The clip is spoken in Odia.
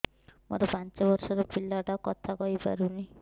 ମୋର ପାଞ୍ଚ ଵର୍ଷ ର ପିଲା ଟା କଥା କହି ପାରୁନି